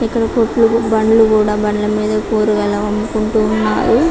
ఇక్కడ కోట్లు బండ్లు కూడా బండ్ల మీద కూరగాయలు అమ్ముకుంటూ ఉన్నారు.